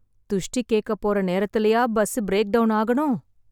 துஷ்டி கேக்கப் போற நேரத்துலயா, பஸ் ப்ரேக் டவுன் ஆகணும்...